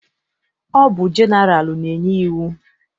Ọ bụ jeneralụ na-enye iwu.